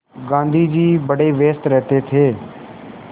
गाँधी जी बड़े व्यस्त रहते थे